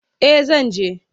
Eh zan je.